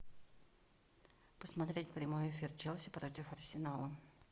посмотреть прямой эфир челси против арсенала